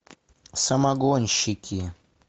самогонщики